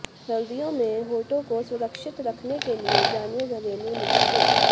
सर्दियों में होंठों को सुरक्षित रखने के लिए जानिए घरेलू नुस्खे